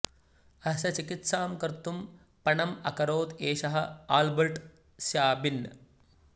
अस्य चिकित्सां कर्तुं पणम् अकरोत् एषः आल्बर्ट् स्याबिन्